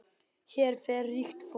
Hér fer ríkt fólk.